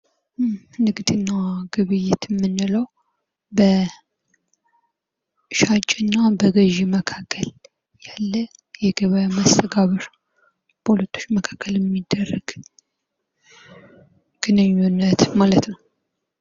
ንግድና ግብይት የምንለው ሻጭ እና በገዢ መካከል ያለ የገበያ መስተጋብር በሁለቶች መካከል የሚደረግ ግንኙነት ማለት ነው።